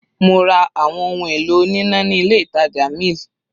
Mo ra àwọn ohun èlò oníná ní ilé ìtàjà mill.